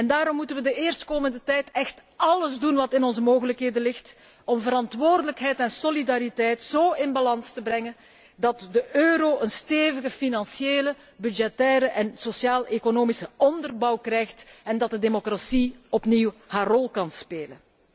Daarom moeten wij de eerstkomende tijd echt alles doen wat binnen onze mogelijkheden ligt om verantwoordelijkheid en solidariteit zo in balans te brengen, dat de euro een stevige financiële, budgettaire en sociaal economische onderbouw krijgt en dat de democratie opnieuw haar rol kan spelen.